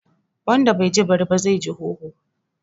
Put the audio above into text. Wanda bai ji bari ba, zai ji hoho